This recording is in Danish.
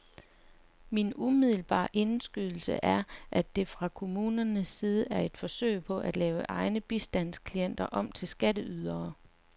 Min umiddelbare indskydelse er, at det fra kommunernes side er et forsøg på at lave egne bistandsklienter om til skatteydere.